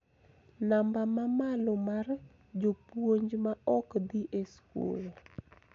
Namba ma malo mar jopuonj ma ok dhi e skul.